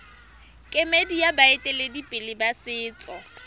kemedi ya baeteledipele ba setso